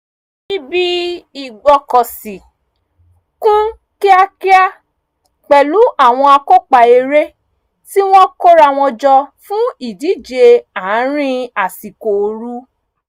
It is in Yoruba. ibi ìgbọ́kọ̀sí kún kíakíá pẹ̀lú àwọn akópa eré tí wọ́n kóra wọn jọ fún ìdíje àárín àsìkò oru